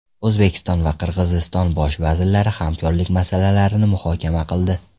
O‘zbekiston va Qirg‘iziston bosh vazirlari hamkorlik masalalarini muhokama qildi.